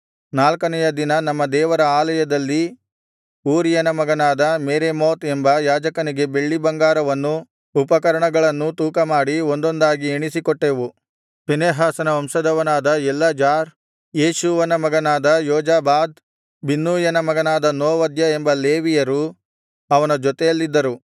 ನಾಲ್ಕನೆಯ ದಿನ ನಮ್ಮ ದೇವರ ಆಲಯದಲ್ಲಿ ಊರೀಯನ ಮಗನಾದ ಮೆರೇಮೋತ್ ಎಂಬ ಯಾಜಕನಿಗೆ ಬೆಳ್ಳಿಬಂಗಾರವನ್ನೂ ಉಪಕರಣಗಳನ್ನೂ ತೂಕಮಾಡಿ ಒಂದೊಂದಾಗಿ ಎಣಿಸಿಕೊಟ್ಟೆವು ಫೀನೆಹಾಸನ ವಂಶದವನಾದ ಎಲ್ಲಾಜಾರ್ ಯೇಷೂವನ ಮಗನಾದ ಯೋಜಾಬಾದ್ ಬಿನ್ನೂಯನ ಮಗನಾದ ನೋವದ್ಯ ಎಂಬ ಲೇವಿಯರು ಅವನ ಜೊತೆಯಲ್ಲಿದ್ದರು